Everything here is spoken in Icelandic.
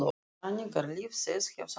Þannig er líf þess hjá sannleikanum.